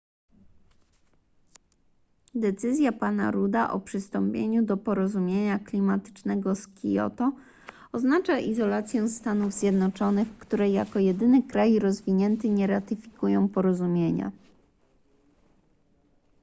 decyzja pana rudda o przystąpieniu do porozumienia klimatycznego z kioto oznacza izolację stanów zjednoczonych które jako jedyny kraj rozwinięty nie ratyfikują porozumienia